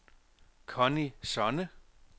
Conny Sonne